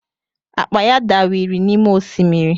Akpa ya dawiri n’ime osimiri